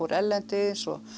erlendis og